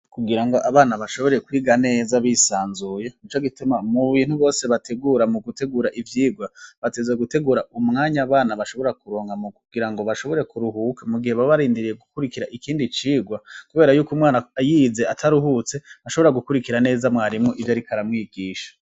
Kugira ngo abana bashobore kwiga neza bisanzuye n'ico gituma mu bintu bose bategura mu gutegura ivyigwa bategerzwa gutegura umwanya abana bashobora kuronka mu kugira ngo bashobore kuruhuka mu gihe babarindiriye gukurikira ikindi cigwa kubera y'uko umwana yize ataruhutse ntashobora gukurikira neza mwarimu iyo ariko aramwigisha.